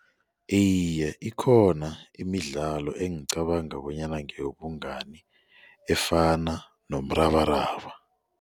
Iye, ikhona imidlalo engicabanga bonyana ngeyobungani efana nomrabaraba.